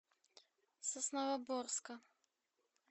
сосновоборска